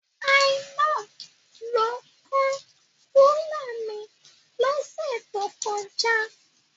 Zainab ló kán rúlà mi lọ́sẹ̀ tó kọjá.